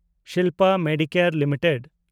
Shilpa Medicare limited